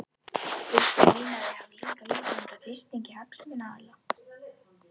Viltu meina að þau hafi líka látið undan þrýstingi hagsmunaaðila?